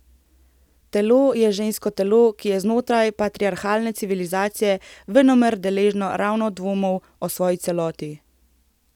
Telo je žensko telo, ki je znotraj patriarhalne civilizacije venomer deležno ravno dvomov o svoji celosti.